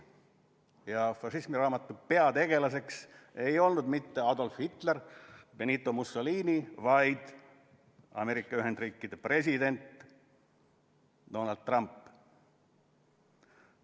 Hoiatus" ja fašismiraamatu peategelaseks ei olnud mitte Adolf Hitler või Benito Mussolini, vaid Ameerika Ühendriikide president Donald Trump.